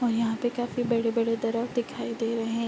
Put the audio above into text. और यहाँ पे काफी बड़े-बड़े दिखाई दे रहे हैं।